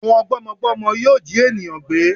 Àwọn gbọ́mọgbọ́mọ yóò jí ènìyàn gbé